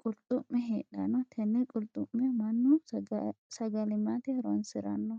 qulxu'me heedhano. Tenne qulxu'me mannu sagalimate horoonsirano.